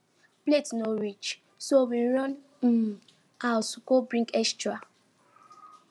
plate no reach so we run um house go bring extra